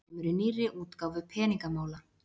Þetta kemur í nýrri útgáfu Peningamála